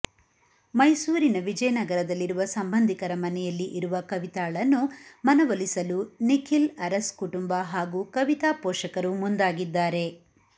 ಮೈಸೂರಿನ ವಿಜಯನಗರದಲ್ಲಿರುವ ಸಂಬಂಧಿಕರ ಮನೆಯಲ್ಲಿ ಇರುವ ಕವಿತಾಳನ್ನು ಮನವೂಲಿಸಲು ನಿಖಿಲ್ ಅರಸ್ ಕುಟುಂಬ ಹಾಗೂ ಕವಿತಾ ಪೋಷಕರು ಮುಂದಾಗಿದ್ದಾರೆ